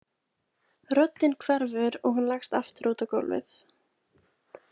Röddin hverfur og hún leggst aftur útaf á gólfið.